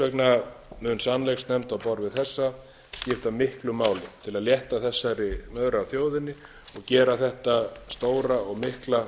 vegna mun sannleiksnefnd á borð við þessa skipta miklu máli til að létta þessari sex af þjóðinni og gera þetta stóra og mikla